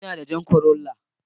Ina da jan corolla.